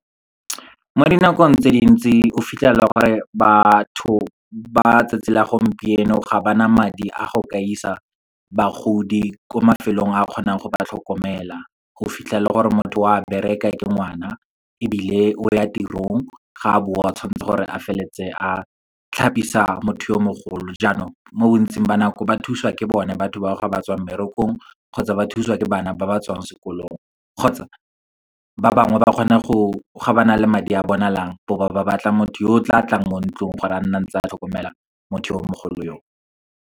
Mo dinakong tse dintsi, o fitlhela e le gore batho ba tsatsi la gompieno, ga ba na madi a go ka isa bagodi ko mafelong a kgonang go ba tlhokomela. O fitlhela gore motho o a bereka, ke ngwana ebile o ya tirong, ga a boa tshwanetse gore a feleletse a tlhapisa motho yo mogolo. Jaanong mo bontsing ba nako, ba thusiwa ke bone batho bao ga batswa mmerekong, kgotsa ba thusiwa ke bana ba ba tswang sekolong. Kgotsa, ba bangwe ga ba na le madi a bonalang, bo ba batla motho yo o tla tlang mo ntlong, gore a nne ntse a tlhokomela motho yo mogolo yo o.